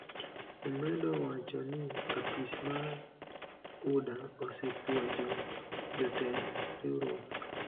Omedo wacho ni apis mar UDA osepuonjo jotend riwruok .